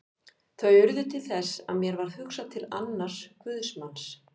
Þau urðu til þess að mér varð hugsað til annars guðsmanns.